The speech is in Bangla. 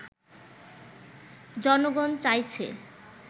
জনগণ চাইছে